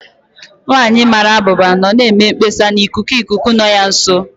Nwanyị mara abụba nọ na-eme mkpesa na ikuku ikuku nọ ya nso.